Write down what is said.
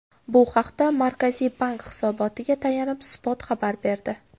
Bu haqda Markaziy bank hisobotiga tayanib, Spot xabar berdi .